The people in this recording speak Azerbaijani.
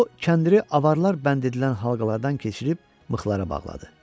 O kəndri avaralar bənd edilən halqalardan keçirib mıxlara bağladı.